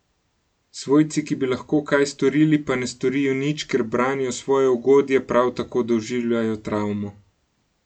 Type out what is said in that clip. Svojci, ki bi lahko kaj storili, pa ne storijo nič, ker branijo svoje ugodje, prav tako doživljajo travmo.